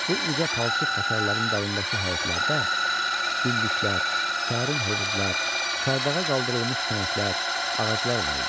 Bu uca palçıq hasarların dalındakı həyətlərdə güllüklər, sərin hovuzlar, çardağa qaldırılmış tənəklər, ağaclar var idi.